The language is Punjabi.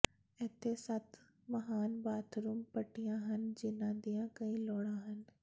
ਇੱਥੇ ਸੱਤ ਮਹਾਨ ਬਾਥਰੂਮ ਪੱਟੀਆਂ ਹਨ ਜਿਹਨਾਂ ਦੀਆਂ ਕਈ ਲੋੜਾਂ ਹਨ